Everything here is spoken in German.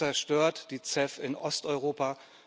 Das zerstört die CEF in Osteuropa.